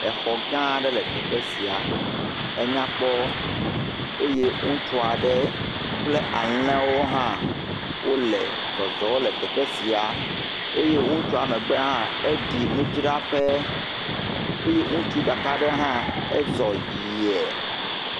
Axɔ gã aɖe le teƒe sia, anyakpɔ eye ŋutsua ɖe kple alẽwo hã wole zɔzɔm le teƒe sia. Ŋutsua megbe hã aɖi nudzra ƒe eye ŋutsu ɖa ɖe hã ezɔ yie.